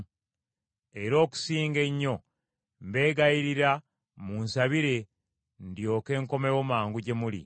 Era okusinga ennyo mbeegayirira munsabire ndyoke nkomewo mangu gye muli.